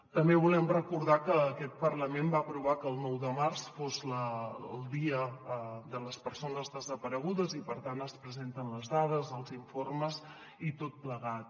també volem recordar que aquest parlament va aprovar que el nou de març fos el dia de les persones desaparegudes i per tant es presenten les dades els informes i tot plegat